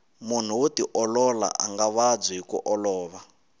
munhu wo tiolola anga vabyi hiku olova